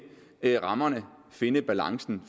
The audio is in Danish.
rammerne finde balancen